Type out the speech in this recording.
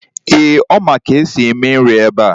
Eeh, Ọ ma ka esi na-eme nri ebe a.